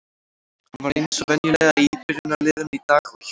Hann var eins og venjulega í byrjunarliðinu í dag og hélt hreinu.